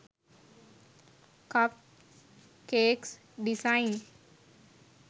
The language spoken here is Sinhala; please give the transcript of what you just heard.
cup cakes designs